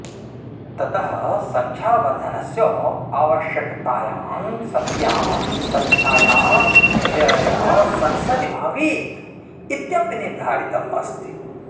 ततः सङ्ख्यावर्धनस्य आवश्यकतायां सत्यां सङ्ख्यायाः निर्णयः संसदि भवेत् इत्यपि निर्धारितमस्ति